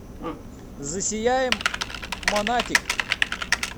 засияем монатик